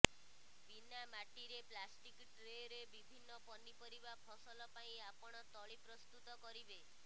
ବିନା ମାଟିରେ ପ୍ଲାଷ୍ଟିକ ଟ୍ରେରେ ବିଭିନ୍ନ ପନିପରିବା ଫସଲ ପାଇଁ ଆପଣ ତଳି ପ୍ରସ୍ତୁତ କରିବେ